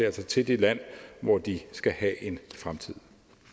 altså til det land hvor de skal have en fremtid